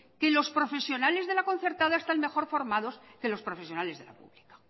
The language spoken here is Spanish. que los profesionales de la concertada están mejor formados que los profesionales de la pública